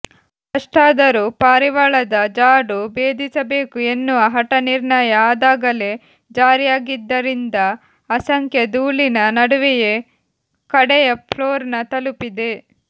ಅಷ್ಟಾದರೂ ಪಾರಿವಾಳದ ಜಾಡು ಭೇದಿಸಬೇಕು ಎನ್ನುವ ಹಠ ನಿರ್ಣಯ ಅದಾಗಲೇ ಜಾರಿಯಾಗಿದ್ದರಿಂದ ಅಸಂಖ್ಯ ಧೂಳಿನ ನಡುವೆಯೇ ಕಡೆಯ ಫ್ಲೋರ್ನ್ನ ತಲುಪಿದೆ